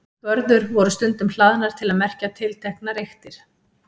Vörður voru stundum hlaðnar til að merkja tilteknar eyktir.